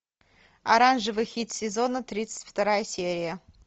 оранжевый хит сезона тридцать вторая серия